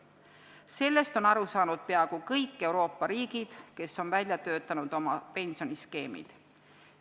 Sellest on aru saanud peaaegu kõik Euroopa riigid, kes on välja töötanud oma pensioniskeemid.